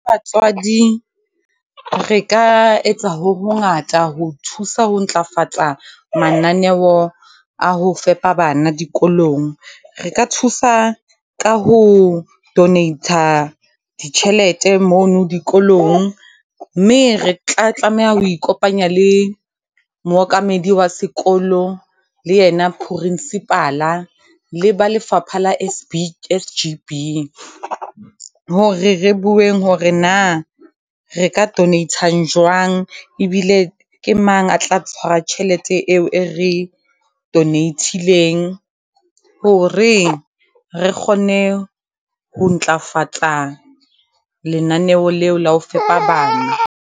Batswadi re ka etsa ho hongata ho thusa ho ntlafatsa mananeo a ho fepa bana dikolong. Re ka thusa ka ho donate ditjhelete mono dikolong, mme re tla tlameha ho ikopanya le mookamedi wa sekolo, le yena Principal, le ba lefapha la S_G _B. Hore re bueng hore na re ka donate-ang jwang, ebile ke mang a tla tshwara tjhelete eo, e re donate-ileng hore re kgone ho ntlafatsa lenaneo leo la ho fepa bana.